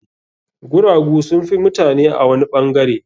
Guragu sun fi mutane a wani ɓangare.